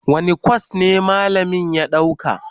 Wane kwas ne malamin ya ɗauka?